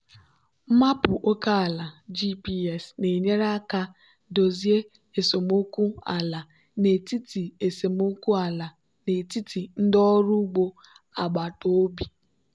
maapụ oke ala gps na-enyere aka dozie esemokwu ala n'etiti esemokwu ala n'etiti ndị ọrụ ugbo agbataobi.